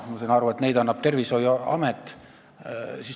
Ma saan aru, et neid annab Tervishoiuamet.